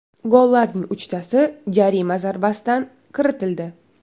Gollarning uchtasi jarima zarbasidan kiritildi .